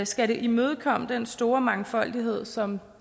skal det imødekomme den store mangfoldighed som